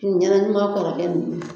kɔrɔkɛ ninnu.